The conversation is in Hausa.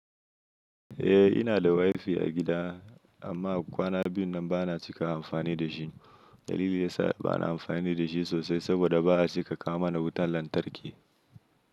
Eh, ina da wifi a gida amma kwana biyu nan ba na cika amfani da shi. Dalili yasa ba na amfani da shi sosai saboda ba a cika kawo mana wutan lantarki.